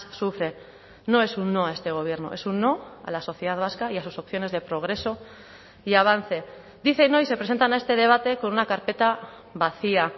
sufre no es un no a este gobierno es un no a la sociedad vasca y a sus opciones de progreso y avance dicen hoy se presentan a este debate con una carpeta vacía